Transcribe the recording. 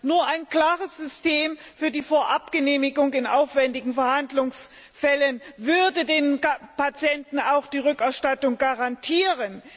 Nur ein klares System für die Vorabgenehmigung in aufwändigen Behandlungsfällen würde dem Patienten auch die Rückerstattung garantieren.